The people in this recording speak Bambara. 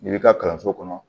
I b'i ka kalanso kɔnɔ